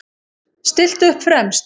Stillt upp fremst.